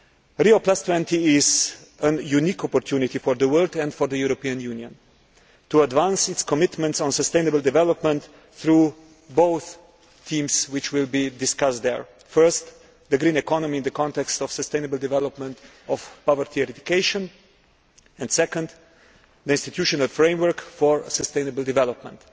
Rio20 is a unique opportunity for the world, and for the European Union, to advance its commitments on sustainable development through both themes which will be discussed there firstly, the green economy in the context of sustainable development and poverty eradication and secondly, the institutional framework for sustainable development.